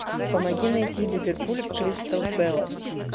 помоги найти ливерпуль кристал пэлас